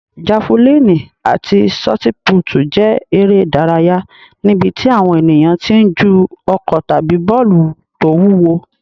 Jafulíìnì àti ṣọtipútì jẹ́ eré ìdárayá níbi tí àwọn ènìyàn ti ń ju ọ̀kọ̀ tàbí bọ́ọ̀lù tó wúwo.